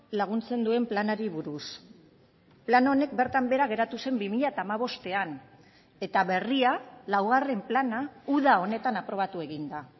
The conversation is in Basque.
laguntzen duen planari buruz plan honek bertan behera geratu zen bi mila hamabostean eta berria laugarren plana uda honetan aprobatu egin da